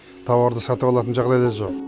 тауарды сатып алатын жағдай да жоқ